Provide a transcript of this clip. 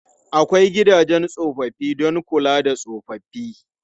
Akwai gidajen tsofaffi don kula da tsofaffi.